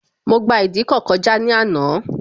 Mo gba ìdíkọ̀ kọjá ní àná